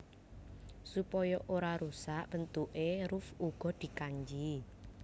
Supaya ora rusak bentukké ruff uga dikanji